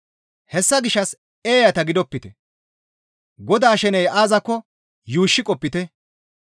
Hessa gishshas eeyata gidopite; Godaa sheney aazakko yuushshi qopite.